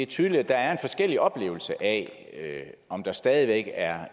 tydeligt at der er forskellige oplevelser af om der stadig væk er